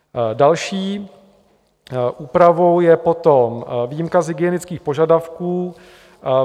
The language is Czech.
Další úpravou je potom výjimka z hygienických požadavků.